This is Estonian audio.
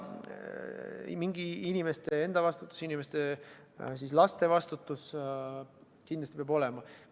Mingisugune inimeste enda vastutus, nende laste vastutus peab kindlasti olema.